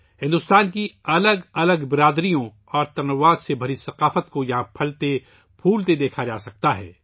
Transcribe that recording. مختلف برادریوں اور تنوع سے بھری بھارت کی ثقافت کو یہاں پھلتا پھولتا دیکھا جا سکتا ہے